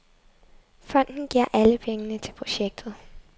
Fonden giver alle pengene til projektet.